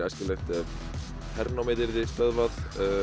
æskilegt ef hernámið yrði stöðvað